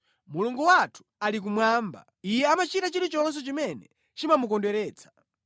Mulungu wathu ali kumwamba; Iye amachita chilichonse chimene chimamukondweretsa.